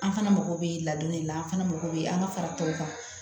An fana mago bɛ ladonni de la an fana mako bɛ an ka fara tɔw kan